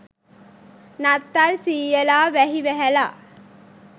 නත්තල් සීයලා වැහි වැහැලා.